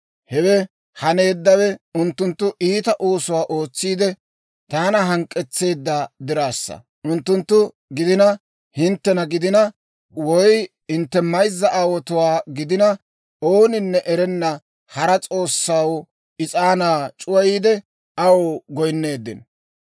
Hewe haneeddawe unttunttu iita oosuwaa ootsiide, taana hank'k'etsissiide diraassa. Unttunttu gidina, hinttena gidina, woy hintte mayzza aawotuwaa gidina, ooninne erenna hara s'oossaw is'aanaa c'uwayiide, aw goyinneeddino.